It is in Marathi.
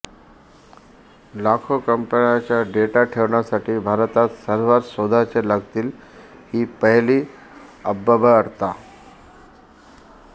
लाखो कंपन्यांना डेटा ठेवण्यासाठी भारतात सर्व्हर्स शोधावे लागतील ही पहिली अव्यवहार्यता